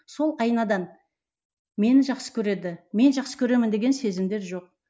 сол айнадан мені жақсы көреді мен жақсы көремін деген сезімдер жоқ